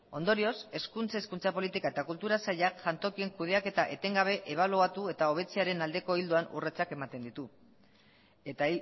ondorioz hezkuntza hezkuntza politika eta kultura sailak jantokien kudeaketa etengabe ebaluatu eta hobetzearen aldeko ildoan urratsak ematen ditu eta